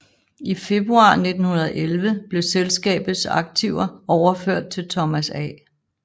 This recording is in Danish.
I februar 1911 blev selskabets aktiver overført til Thomas A